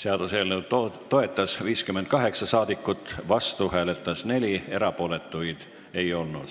Seaduseelnõu toetas 58 rahvasaadikut, vastu hääletas 4, erapooletuid ei olnud.